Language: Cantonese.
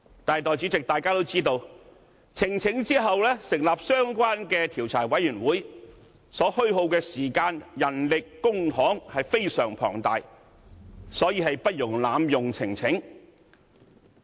但是，眾所周知，提交呈請書之後成立相關專責委員會所虛耗的時間、人力、公帑非常龐大，因此不容濫用呈請書。